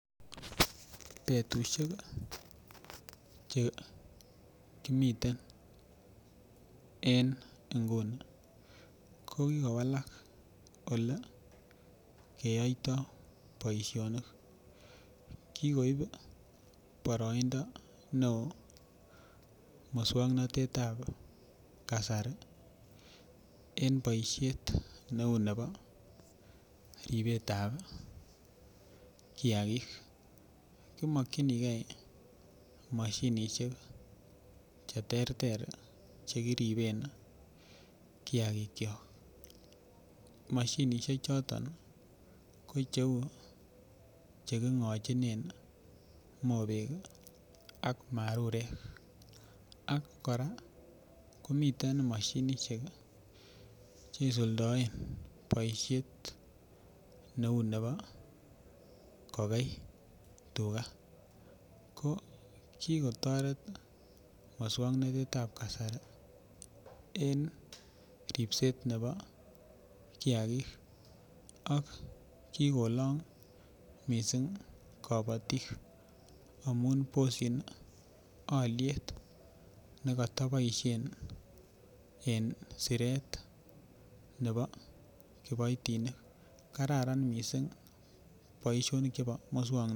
Betushek chekimiten en inguni ko kikowala olekeyoiti boishonik kikoib boroindo neo muswoknotetan kasari en boishet neu nebo ribetab kiyagik, kimokinigee moshinishek cheterter chekiriben kiyagik kyok. Moshinishek choto kocheilu chekingochine mobek ak marurek ak kora komiten moshinishek cheisuldoen boishet neo nebo kokei tugaa ko kikotoret muswoknotetan kasari en ribset nebo kiyagik ak kikolong missing kobotik amun boshin oliet nekoto boishen en direct nebo kiboitinik, kararan missing boishonik chebo miswoknotet.